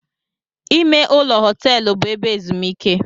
Ime ụlọ họteelu bụ ebe ezumike.